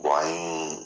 an ye